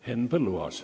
Henn Põlluaas.